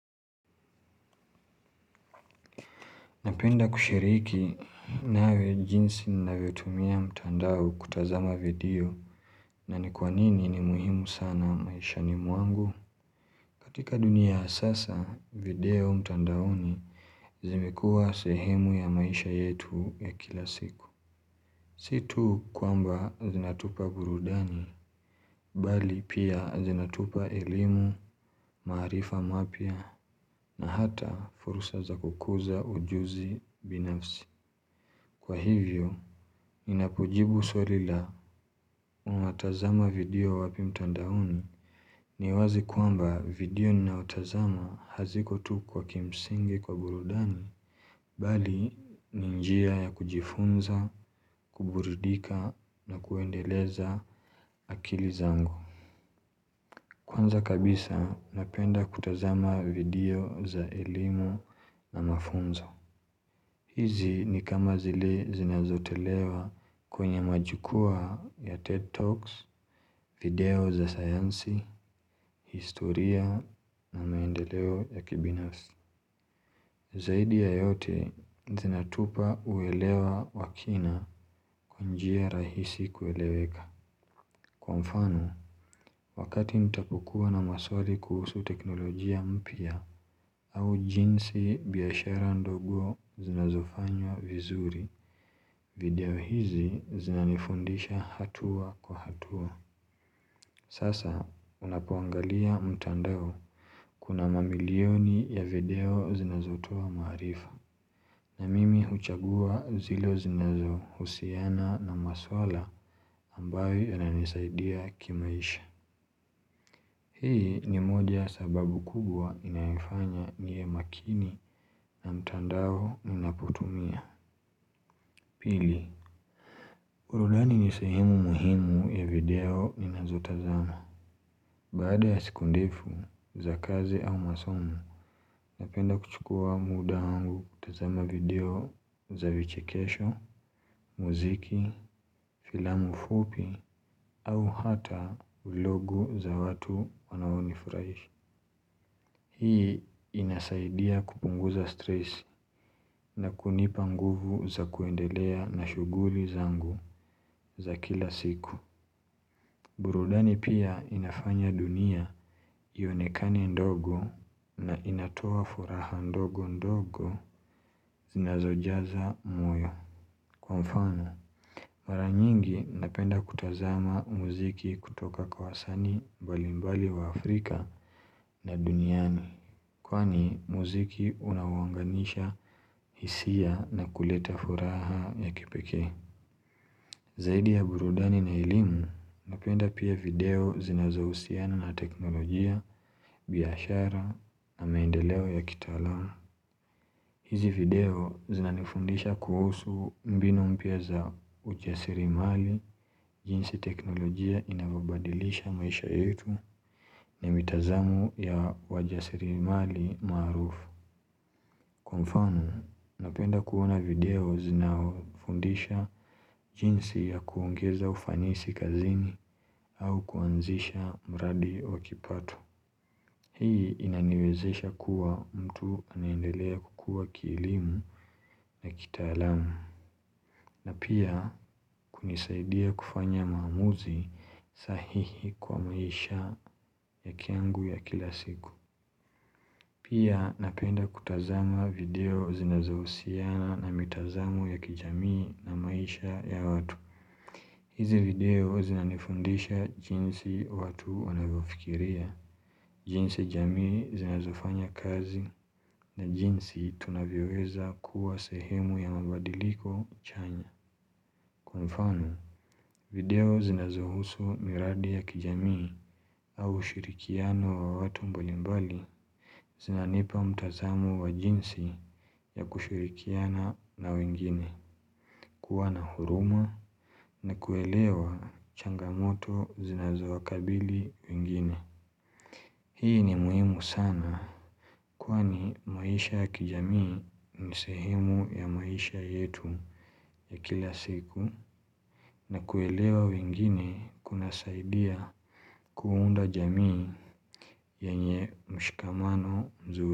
Napenda kushiriki nawe jinsi ninavyotumia mtandao kutazama video na ni kwa nini ni muhimu sana maishani mwangu. Katika dunia ya sasa, video mtandaoni zimekuwa sehemu ya maisha yetu ya kila siku. Situ kwamba zinatupa burudani, bali pia zinatupa elimu, maarifa mapya na hata fursa za kukuza ujuzi binafsi. Kwa hivyo, ninapojibu swali la unatazama video wapi mtandaoni ni wazi kwamba video ninaotazama haziko tu kwa kimsingi kwa burudani Bali, ni njia ya kujifunza, kuburidika na kuendeleza akili zangu Kwanza kabisa, napenda kutazama video za elimu na mafunzo hizi ni kama zile zinazotolewa kwenye majukwaa ya TED Talks, video za sayansi, historia na maendeleo ya kibinafsi. Zaidi ya yote zinatupa uelewa wa kina kwa njia rahisi kueleweka. Kwa mfano, wakati nitapokuwa na maswali kuhusu teknolojia mpya au jinsi biashara ndogo zinazofanywa vizuri. Video hizi zinanifundisha hatua kwa hatua Sasa unapoangalia mtandao, kuna mamilioni ya video zinazotoa maarifa na mimi huchagua zile zinazohusiana na maswala ambayo yananisaidia kimaisha Hii ni moja ya sababu kubwa inayoifanya niwe makini na mtandao ninapotumia Pili, burudani ni sehemu muhimu ya video ninazotazama. Baada ya siku ndefu za kazi au masomo, napenda kuchukua muda wangu kutazama video za vichekesho, muziki, filamu fupi au hata vlogu za watu wanaonifurahisha. Hii inasaidia kupunguza stress na kunipa nguvu za kuendelea na shughuli zangu za kila siku. Burudani pia inafanya dunia ionekane ndogo na inatoa furaha ndogo ndogo zinazojaza moyo. Kwa mfano, mara nyingi napenda kutazama muziki kutoka kwa wasanii mbalimbali wa Afrika na duniani. Kwani muziki unawaunganisha hisia na kuleta furaha ya kipekee. Zaidi ya burudani na elimu, napenda pia video zinazohusiana na teknolojia, biashara na maendeleo ya kitaalam. Hizi video zinanifundisha kuhusu mbinu mpya za ujasiriamali jinsi teknolojia inavyobadilisha maisha yetu, ni mitazamo ya wajasiriamali maarufu. Kwa mfano, napenda kuona video zina fundisha jinsi ya kuongeza ufanisi kazini au kuanzisha mradi wakipato. Hii inaniwezesha kuwa mtu anaendelea kukua kielimu na kitaalam na pia kunisaidia kufanya maamuzi sahihi kwa maisha ya kwangu ya kila siku Pia napenda kutazama video zinazohusiana na mitazamo ya kijamii na maisha ya watu hizi video zinanifundisha jinsi watu wanavyofikiria jinsi jamii zinazofanya kazi na jinsi tunavyoweza kuwa sehemu ya mabadiliko chanya. Kwa mfano, video zinazohusu miradi ya kijamii au ushirikiano wa watu mbalimbali zinanipa mtazamo wa jinsi ya kushirikiana na wengine kuwa na huruma na kuelewa changamoto zinazowakabili wengine Hii ni muhimu sana kwani maisha ya kijamii ni sehemu ya maisha yetu ya kila siku na kuelewa wengine kunasaidia kuunda jamii yenye mshikamano mzuri.